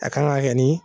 A kan ka kɛ ni